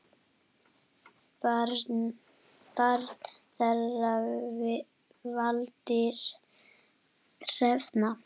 Barn þeirra Valdís Hrafna.